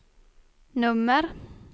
nummer